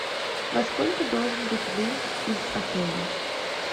во сколько должен быть выезд из отеля